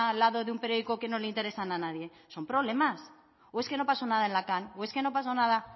lado de un periódico que no interesan a nadie son problemas o es que no pasó nada en la o es que no pasó nada